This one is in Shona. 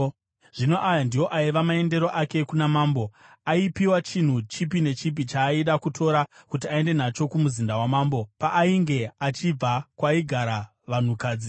Zvino aya ndiwo aiva maendero ake kuna mambo: Aipiwa chinhu chipi nechipi chaaida kutora kuti aende nacho kumuzinda wamambo paainge achibva kwaigara vanhukadzi.